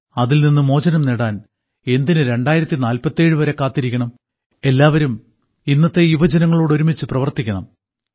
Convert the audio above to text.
അതിൽനിന്ന് മോചനം നേടാൻ എന്തിന് 2047 വരെ കാത്തിരിക്കണം എല്ലാവരും ഇന്നത്തെ യുവജനങ്ങളോടൊരുമിച്ച് പ്രവർത്തിക്കണം